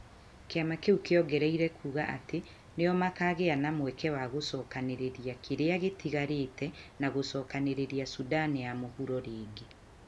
Kĩama kĩu kĩongereire kuuga atĩ, "nĩo makaagĩa na mweke wa gũcokanĩrĩria kĩrĩa gĩtigarĩte na gũcokanĩrĩria Sudan ya Mũhuro rĩngĩ".